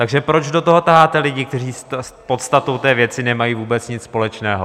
Takže proč do toho taháte lidi, kteří s podstatou té věci nemají vůbec nic společného?